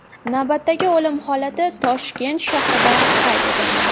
Navbatdagi o‘lim holati Toshkent shahrida qayd etilgan.